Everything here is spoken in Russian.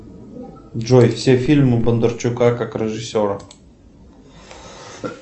джой все фильмы бондарчука как режиссера